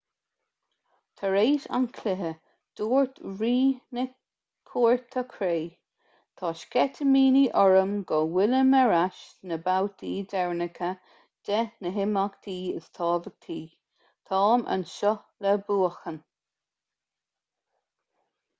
tar éis an chluiche dúirt rí na cúirte cré tá sceitimíní orm go bhfuilim ar ais sna babhtaí deireanacha de na himeachtaí is tábhachtaí táim anseo le buachan